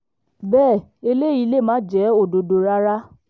bẹ́ẹ̀ eléyìí lè má jẹ́ òdodo rárá